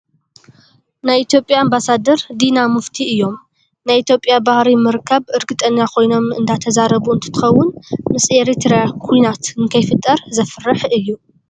ናይ ኢትዮጵያ ኣምባሳደር ዲና ሙፍቲ እዮም ። ናይ ኢትዮጵያ ባህሪ ምርካብ እርግጠኛ ኮይኖም እንዳተዛረቡ እንትከውን፣ ምስ ኤርትራ ኩናት ንከይፍጠር ዘፍርሕ እዩ።